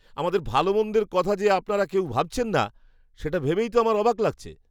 আমাদের ভালো মন্দের কথা যে আপনারা কেউ ভাবছেন না, সেটা ভেবেই তো আমার অবাক লাগছে!